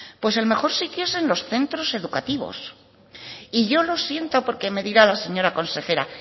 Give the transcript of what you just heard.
pues el mejor sitio es en los centros educativos y yo lo siento porque me dirá la señora consejera